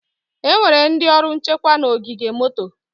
Enwere ndị ọrụ nchekwa na ogige moto.